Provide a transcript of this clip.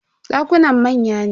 Dakunan manya ne.